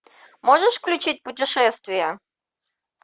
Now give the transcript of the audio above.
можешь включить путешествия